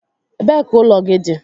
Ebee ka ụlọ gị dị?